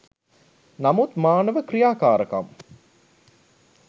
නමුත් මානව ක්‍රියාකාරකම්